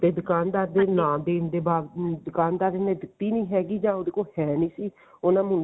ਤੇ ਦੁਕਾਨਦਾਰ ਦੇ ਨਾ ਦੇਣ ਦੇ ਬਾਅਦ ਦੁਕਾਨਦਰ ਨੇ ਦਿੱਤੀ ਨੀ ਹੈਗੀ ਜਾਂ ਉਹਦੇ ਕੋਲ ਹੈ ਨਹੀਂ ਸੀ ਉਹਨਾ